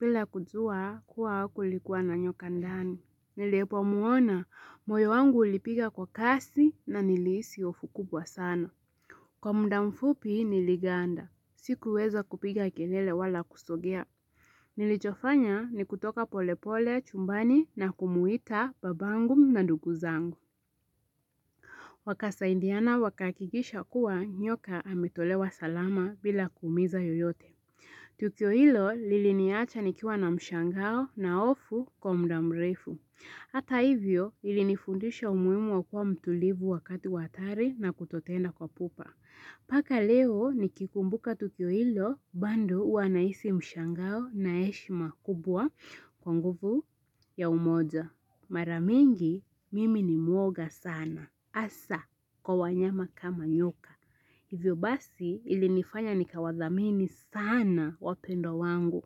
Bila kujua kuwa kulikuwa na nyoka ndani. Nilipomwona moyo wangu ulipiga kwa kasi na nilihisi hofu kubwa sana. Kwa muda mfupi niliganda. Sikuweza kupiga kelele wala kusogea. Nilichofanya ni kutoka polepole chumbani na kumwita babangu na ndugu zangu. Wakasaidiana wakahakikisha kuwa nyoka ametolewa salama bila kuumiza yeyote. Tukio hilo liliniacha nikiwa na mshangao na hofu kwa muda mrefu. Hata hivyo ilinifundisha umuhimu wa kuwa mtulivu wakati wa hatari na kutotenda kwa pupa. Mpaka leo nikikumbuka tukio ilo, bado huwa nahisi mshangao na heshima kubwa kwa nguvu ya umoja. Mara mingi, mimi ni muoga sana. Hasa, kwa wanyama kama nyoka. Hivyo basi ilinifanya nikawathamini sana wapendwa wangu.